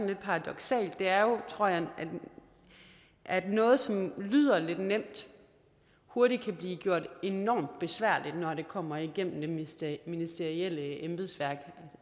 lidt paradoksalt er jo tror jeg at noget som lyder lidt nemt hurtigt kan blive gjort enormt besværligt når det kommer igennem det ministerielle ministerielle embedsværk